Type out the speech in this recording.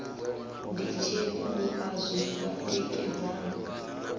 nditsheni u a zwifha tikedzani